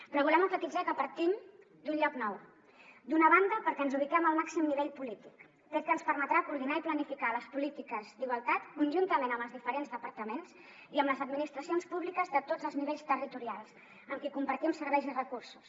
però volem emfatitzar que partim d’un lloc nou d’una banda perquè ens ubiquem al màxim nivell polític fet que ens permetrà coordinar i planificar les polítiques d’igualtat conjuntament amb els diferents departaments i amb les administracions públiques de tots els nivells territorials amb qui compartim serveis i recursos